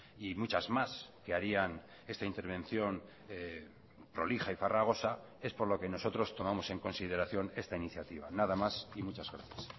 y muchas más que harían esta intervención prolija y farragosa es por lo que nosotros tomamos en consideración esta iniciativa nada más y muchas gracias